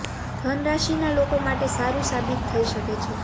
ધન રાશિના લોકો માટે સારું સાબિત થઈ શકે છે